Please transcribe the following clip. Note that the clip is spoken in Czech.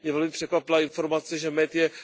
Mě velmi překvapila informace, že med je